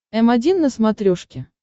м один на смотрешке